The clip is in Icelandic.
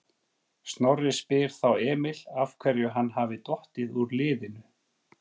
Snorri spyr þá Emil af hverju hann hafi dottið úr liðinu?